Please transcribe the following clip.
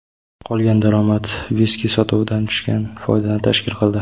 Qolgan daromad viski sotuvidan tushgan foydani tashkil qildi.